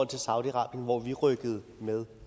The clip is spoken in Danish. til saudi arabien hvor vi rykkede med